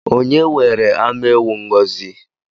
Onye nwere anụ ewu Ngọzi?